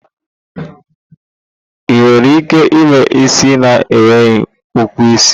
Ị nwere ike ime isi na enweghi ukwu isi?